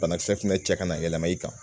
Banakisɛ fana cɛ kana yɛlɛma i kan